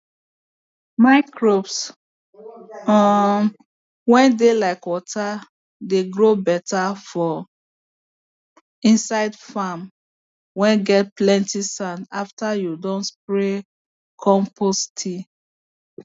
microbes um whey dey like water dey grow better for inside farm whey get plenty sand after you don spray compost tea